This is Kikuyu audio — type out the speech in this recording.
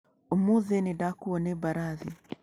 Ũmũthĩ nĩ ndakuuo nĩ mbarathi.